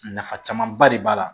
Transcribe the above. Nafa camanba de b'a la